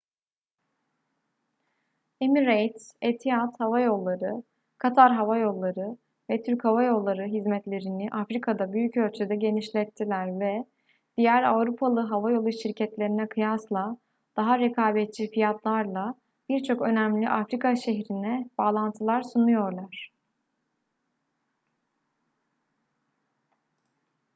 emirates etihad hava yolları katar hava yolları ve türk hava yolları hizmetlerini afrika'da büyük ölçüde genişlettiler ve diğer avrupalı havayolu şirketlerine kıyasla daha rekabetçi fiyatlarla birçok önemli afrika şehrine bağlantılar sunuyorlar